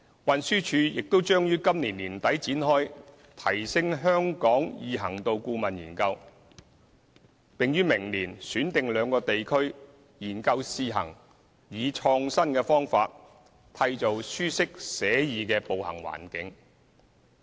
運輸署亦將於今年年底展開"提升香港易行度顧問研究"，並於明年選定兩個地區，研究試行以創新的方法，締造舒適寫意的步行環境。